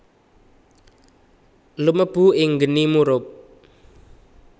Lumebu ing geni murub